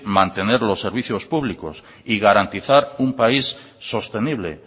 mantener los servicios públicos y garantizar un país sostenible